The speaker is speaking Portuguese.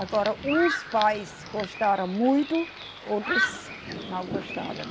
Agora, uns pais gostaram muito, outros não gostaram.